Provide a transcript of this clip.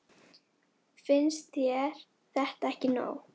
Finnst þér þetta ekki nóg?